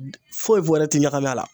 Foyi foyi wɛrɛ ti ɲagami a la